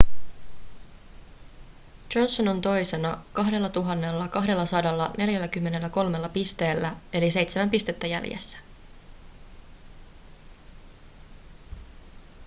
johnson on toisena 2 243 pisteellä eli seitsemän pistettä jäljessä